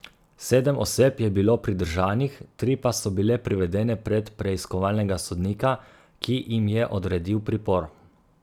Sedem oseb je bilo pridržanih, tri pa so bile privedene pred preiskovalnega sodnika, ki jim je odredil pripor.